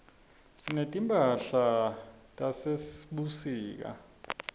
sinetimphahlatase sebusika